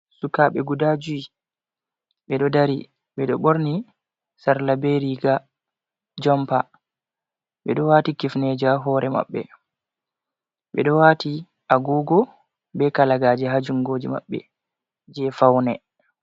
Sukaaɓe guda juyi, ɓe ɗo dari, ɓe ɗo ɓorni sarla be riiga jompa, ɓe ɗo waati kifneeje haa hoore maɓɓe, ɓe ɗo waati agoogo be kalagaaje haa junngooji maɓɓe, jey fawne.